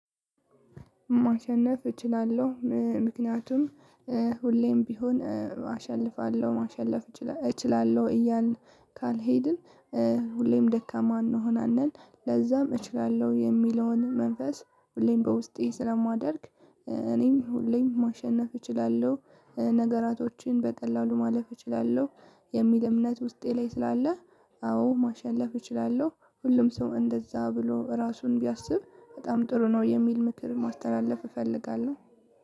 ማሸነፍ እችላለሁ ምክንያቱም ሁሌም ቢሆን አሸንፋለሁ ማሸነፍ እችላለሁ እያልን ካልሄድን ሁሌም ደካማ እንሆናለን። ለዛም እችላለሁ የሚለውን መንፈስ ሁሌም በውስጤ ስለማደርግ እኔም ሁሌም ማሸነፍ እችላለሁ ነገራቶችን በቀላሉ ማለፍ እችላለሁ የሚል እምነት ውስጤ ላይ ስላለ። አዎ ማሸነፍ እችላለሁ። ሁሉም ሰው እንደዛ ብሎ ራሱን ቢያስብ በጣም ጥሩ ነው የሚል ምክር ማስተላለፍ እፈልጋለሁ።